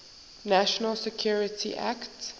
national security act